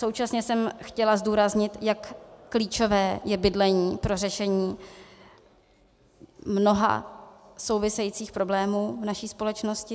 Současně jsem chtěla zdůraznit, jak klíčové je bydlení pro řešení mnoha souvisejících problémů v naší společnosti.